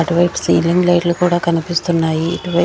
అటు వైపు ceiling light లు కూడా కనిపిస్తున్నాయి ఇటు వై--